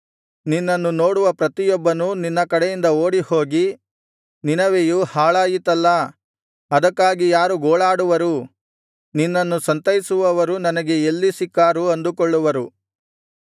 ನಿನ್ನನ್ನು ನೋಡುವ ಪ್ರತಿಯೊಬ್ಬನು ನಿನ್ನ ಕಡೆಯಿಂದ ಓಡಿಹೋಗಿ ನಿನವೆಯೂ ಹಾಳಾಯಿತಲ್ಲಾ ಅದಕ್ಕಾಗಿ ಯಾರು ಗೋಳಾಡುವರು ನಿನ್ನನ್ನು ಸಂತೈಸುವವರು ನನಗೆ ಎಲ್ಲಿ ಸಿಕ್ಕಾರು ಅಂದುಕೊಳ್ಳುವನು